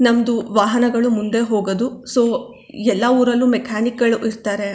ನಮ್ಮದು ವಾಹನಗಳು ಮುಂದೆ ಹೋಗದು ಸೋ ಎಲ್ಲಾ ಉರಲ್ಲು ಮೆಕ್ಯಾನಿಕ್ ಗಳು ಇರತ್ತರೆ.